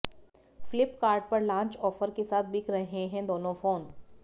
फिल्पकार्ट पर launch offer के साथ बिक रहे हैं दोनों फोन